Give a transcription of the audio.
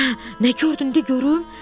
Hə, nə gördün, de görüm?